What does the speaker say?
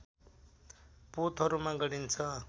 पोतहरूमा गरिन्छ